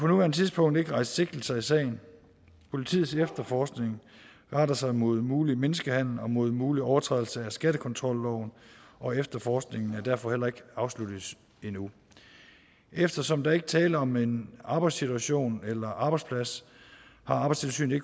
nuværende tidspunkt ikke rejst sigtelser i sagen politiets efterforskning retter sig mod mulig menneskehandel og mod mulig overtrædelse af skattekontrolloven og efterforskningen er derfor heller ikke afsluttet endnu eftersom der ikke er tale om en arbejdssituation eller arbejdsplads har arbejdstilsynet